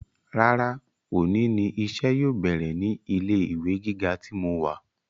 Rárá òní ni iṣẹ́ yóò bẹ̀rẹ̀ ní ilé ìwé gíga tí mo wà